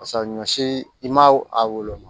Pasa ɲɔ si i ma a woloma